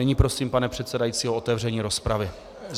Nyní prosím, pane předsedající, o otevření rozpravy.